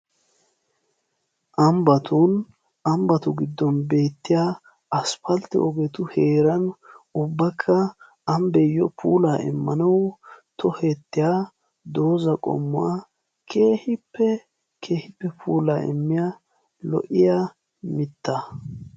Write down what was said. Ambbattun ambbatti giddon beetiya asapptte ogetun beetiya keehippe lo'iya mittaa.